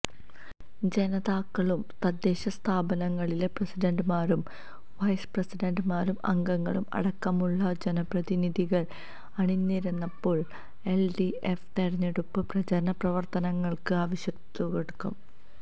ജനനേതാക്കളും തദ്ദേശ സ്ഥാപനങ്ങളിലെ പ്രസിഡന്റുമാരും വൈസ് പ്രസിഡന്റുമാരും അംഗങ്ങളും അടക്കമുള്ള ജനപ്രതിനിധികള് അണിനിരന്നപ്പോള് എല്ഡിഎഫ് തെരഞ്ഞെടുപ്പ് പ്രചാരണ പ്രവര്ത്തനങ്ങള്ക്ക് ആവേശത്തുടക്കം